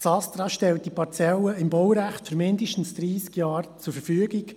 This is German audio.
Das Astra stellt die Parzelle im Baurecht für mindestens dreissig Jahre zur Verfügung.